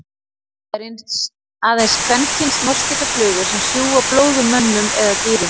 Það eru aðeins kvenkyns moskítóflugur sem sjúga blóð úr mönnum eða dýrum.